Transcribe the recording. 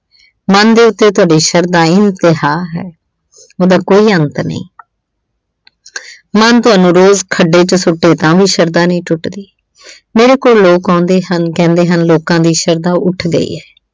ਮਨ ਦੇ ਉੱਤੇ ਤੁਹਾਡੀ ਸ਼ਰਧਾ ਇੰਮਤਹਾਂ ਹੈ। ਉਹਦਾ ਕੋਈ ਅੰਤ ਨਹੀਂ। ਮਨ ਤੁਹਾਨੂੰ ਖੱਡੇ ਵਿੱਚ ਸੁੱਟ ਦੇ, ਤਾਂ ਵੀ ਤੁਹਾਡੀ ਸ਼ਰਧਾ ਨਹੀਂ ਟੁੱਟਦੀ। ਮੇਰੇ ਕੋਲ ਲੋਕ ਆਉਂਦੇ ਹਨ, ਕਹਿੰਦੇ ਹਨ ਲੋਕਾਂ ਦੀ ਸ਼ਰਧਾ ਉੱਠ ਗਈ ਏ।